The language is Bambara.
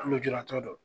Lujuratɔ dɔ